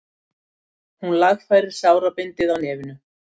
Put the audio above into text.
Hún lagfærir sárabindið á nefinu.